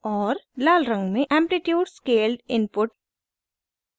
लाल रंग में amplitude scaled input